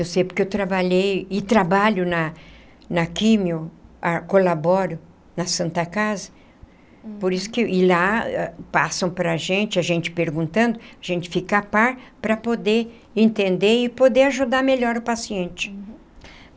Eu sei porque eu trabalhei e trabalho na na químio, colaboro na Santa Casa, por isso que e lá passam para gente, a gente perguntando, a gente fica a par para poder entender e poder ajudar melhor o paciente.